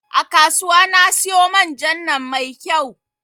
A kasuwa na siyo man jan nan mai kyau